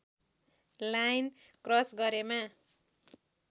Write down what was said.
line cross गरेमा